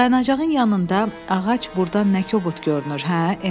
Dayanacağın yanında ağac burdan nə ki kobud görünür, hə?